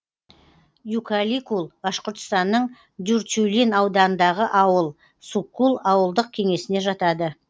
юкаликул башқұртстанның дюртюлин ауданындағы ауыл суккул ауылдық кеңесіне жатады